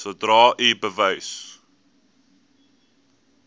sodra u bewus